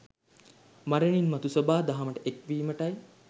මරණින් මතු සොබාදහමට එක්වීමටයි.